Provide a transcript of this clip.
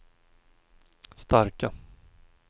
starka